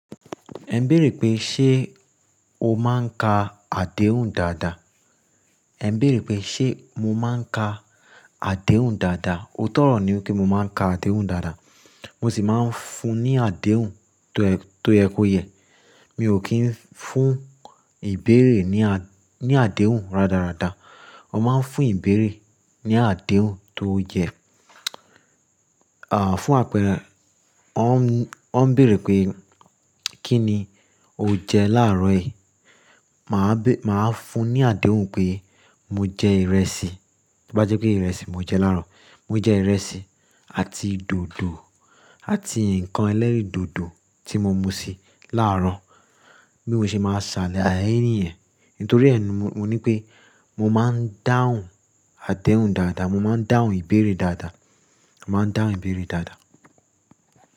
Ẹ ń bèèrè pé ṣe o máa ń ka àdéhùn dáadáa? Ẹ ń bèèrè pé ṣe mo máa ń ka àdéhùn dáadáa? Óotọ ọrọ ní pé mo máa ń ka àdéhùn dáadáa. Mo sì máa ń fún ní àdéhùn tó ẹ kó yẹ. Mi ò kí ń fún ìbéèrè ní, ní àdéhùn rádaràda. Wọ́n máa ń fún ìbéèrè ní àdéhùn tó yẹ. À, fún àpẹrẹ, wọ́n ń, wọ́n ń bèèrè pé kí ni o jẹ láàárọ̀ yìí, mà á bé, mà á fún ní àdéhùn pé mo jẹ ìrẹsì. Bí bá jẹ́ pé ìrẹsì mo jẹ láàárọ̀. Mo jẹ ìrẹsì àti dòdò àti ǹkan ẹlẹ́rìn dòdò tí mo mu sí láàárọ̀. Bí mo ṣe máa ṣàlàyé níyẹn. Nítorí ẹ ni mo ní pé mo máa ń dáhùn àdéhùn dáadáa, mo máa ń dáhùn ìbéèrè dáadáa, mà á dáhùn ìbéèrè dáadáa.